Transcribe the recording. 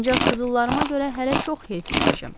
Ancaq qızıllarıma görə hələ çox heyfslənəcəm.